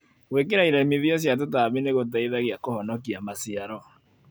Gwĩkĩra iremithia cia tũtambi nĩgũteithagia kũhonokia maciaro.